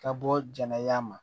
Ka bɔ jɛnɛya ma